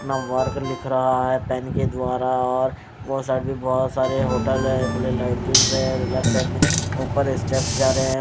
नंबरक लिख रहा हैं पेन के द्वारा और वो साइड पे बहोत सारे होटल हैं खुला लैट्रिन्स हैं लेफ्ट साइड में ऊपर स्टेप जा रहें हैं।